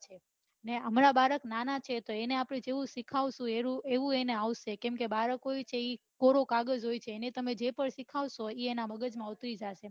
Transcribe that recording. હમણાં બાળક નાના છે તો એને આપડે જેવું સિખવાડ સો એવું એને આવડશે બાળકો હોય છે એ કોરો કાગજ હોય છે એને તમે જે પન સીખડાવસો એ એના મગજ માં ઉતરી જાય